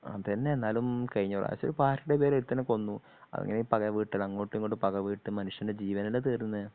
അതെന്നെ എന്നാലും കഴിഞ്ഞപ്രാവശ്യം പാർട്ടിയുടെ പേരിൽ ഒരുത്തനെ കൊന്നു അതിങ്ങനെ പക വീട്ടൽ അങ്ങോട്ടുമിങ്ങോട്ടും പക വീട്ടി മനുഷ്യൻ്റെ ജീവനല്ലേ തീരുന്നെ